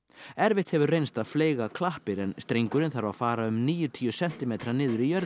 erfitt hefur reynst að fleyga klappir en strengurinn þarf að fara um níutíu sentimetra niður í jörðina